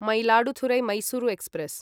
Mayiladuthurai Mysuru express